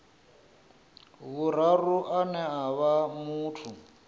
vhuraru ane a vha muthu